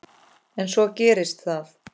En svo gerist það.